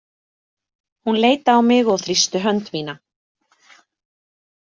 Hún leit á mig og þrýsti hönd mína.